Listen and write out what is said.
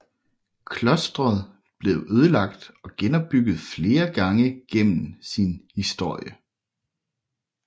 Klosteret blev ødelagt og genopbygget flere gange gennem sin historie